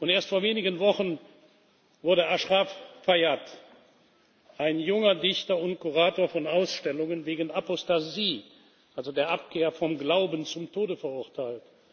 Erst vor einigen Wochen wurde Ashraf Fayadh, ein junger Dichter und Kurator von Ausstellungen, wegen Apostasie, der Abkehr vom Glauben, zum Tode verurteilt.